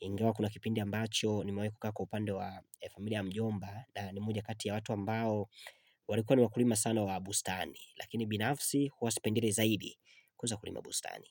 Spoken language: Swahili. Ingawa kuna kipindi ambacho nimewahi kukaa kwa upande wa familia ya mjomba na ni moja kati ya watu ambao walikuwa ni wakulima sana wa bustani. Lakini binafsi huwa sipendelei zaidi kuweza kulima bustani.